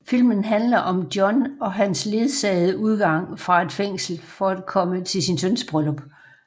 Filmen handler om John og hans ledsagede udgang fra et fængsel for at komme til sin søns bryllup